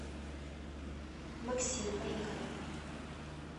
максим поехали